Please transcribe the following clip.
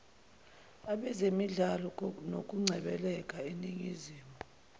abezemidlalo nokungcebeleka eningizimu